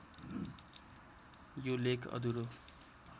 यो लेख अधुरो